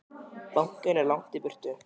Bankinn er langt í burtu.